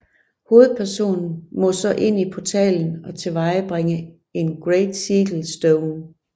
Hovedpersonen må så ind i portalen og tilvejebringe en Great Sigil Stone